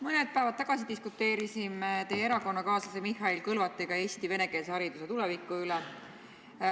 Mõned päevad tagasi diskuteerisime teie erakonnakaaslase Mihhail Kõlvartiga Eesti venekeelse hariduse tuleviku üle.